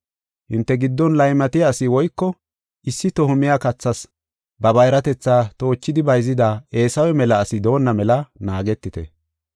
Hinte giddon laymatiya asi woyko issi toho miya kathas ba bayratetha toochidi bayzida Eesawe mela asi doonna mela naagetite.